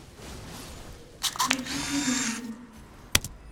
включи динамик